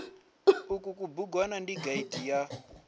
uku kubugwana ndi gaidi ya